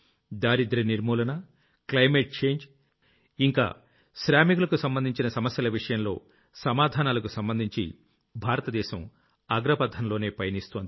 దారిద్ర్య నిర్మూలన climate change ఇంకా శ్రామికులకు సంబంధించి సమస్యలు విషయంలో సమాధానాలకు సంబంధించి భారతదేశం అగ్రపథంలోనే పయనిస్తోంది